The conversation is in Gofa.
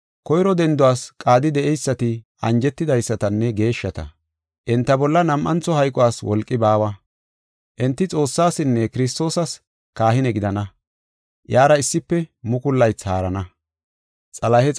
Koyro denduwas qaadi de7eysati anjetidaysatanne geeshshata. Enta bolla nam7antho hayquwas wolqi baawa. Enti Xoossaasinne Kiristoosas kahine gidana; iyara issife mukulu laythi haarana.